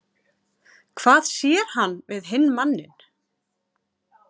Hvað sér hann við hinn manninn?